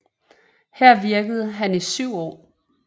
Her virkede han i 7 år